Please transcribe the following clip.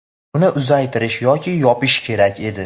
uni uzaytirish yoki yopish kerak edi.